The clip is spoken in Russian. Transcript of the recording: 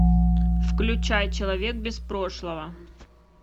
включай человек без прошлого